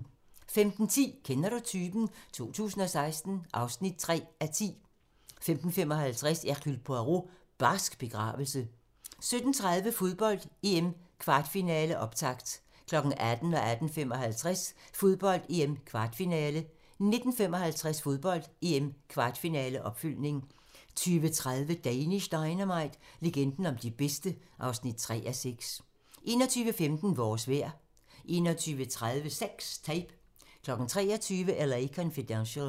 15:10: Kender du typen? 2016 (3:10) 15:55: Hercule Poirot: Barsk begravelse 17:30: Fodbold: EM - kvartfinale, optakt 18:00: Fodbold: EM - kvartfinale 18:55: Fodbold: EM - kvartfinale 19:55: Fodbold: EM - kvartfinale, opfølgning 20:30: Danish Dynamite - legenden om de bedste (3:6) 21:15: Vores vejr 21:30: Sex Tape 23:00: L.A. Confidential